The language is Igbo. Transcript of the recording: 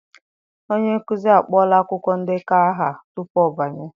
Onye nkuzi akpọọla akwụkwọ ndekọ aha tupu ọ banye